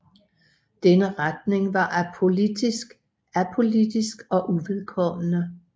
Denne retning var apolitisk og uvedkommende